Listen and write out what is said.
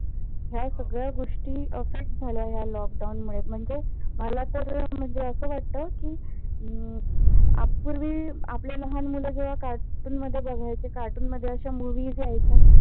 ह्या सगळ्या गोष्टी affect झाल्या ह्या lockdown मुळे म्हणजेच मला तर अस वाटत, कि अप्रि आपले लहान मुल जेव्हा cartoon मध्ये बघायचे. cartoon मध्ये अशा movies यायच्या